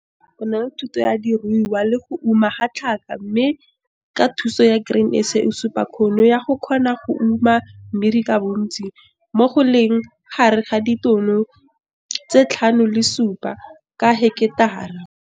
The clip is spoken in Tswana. O na le thato ya diruiwa le go uma ga tlhaka mme ka thuso ya Grain SA o supa kgono ya go kgona go uma mmidi ka bontsi, mo go leng gare ga ditono tse 5 le 7 ka heketara.